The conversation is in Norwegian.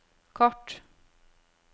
kort